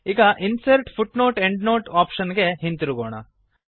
ಈಗ insert footnote endnote option ಗೆ ಹಿಂತಿರುಗೋಣ